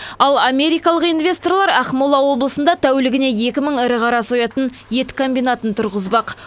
ал америкалық инвесторлар ақмола облысында тәулігіне екі мың ірі қара мал соятын ірі ет комбинатын тұрғызбақ